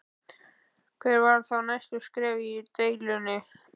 Hver verða þá næstu skref í deilunni?